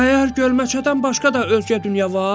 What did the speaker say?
Məyər gölməçədən başqa da ölkə-dünya var?